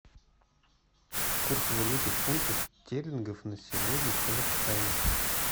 курс валюты фунты стерлингов на сегодня в казахстане